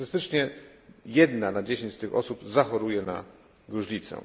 Statystycznie jedna na dziesięć z tych osób zachoruje na gruźlicę.